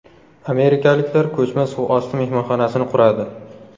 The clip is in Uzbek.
Amerikaliklar ko‘chma suvosti mehmonxonasini quradi.